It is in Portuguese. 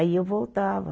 Aí eu voltava.